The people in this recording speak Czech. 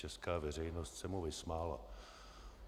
Česká veřejnost se mu vysmála.